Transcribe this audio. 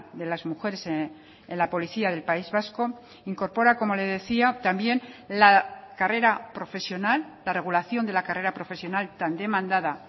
de las mujeres en la policía del país vasco incorpora como le decía también la carrera profesional la regulación de la carrera profesional tan demandada